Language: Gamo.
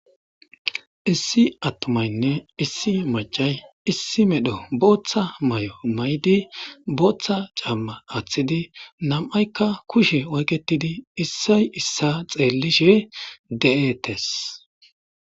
issi attumaynne issi macay issi medho booththa may7o may7di booththa camma aththidi nam7aykka kushe oyketidi issay issa xeellishe de7etes.